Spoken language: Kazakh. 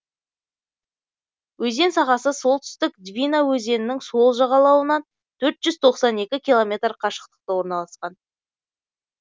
өзен сағасы солтүстік двина өзенінің сол жағалауынан төрт жүз тоқсан екі километр қашықтықта орналасқан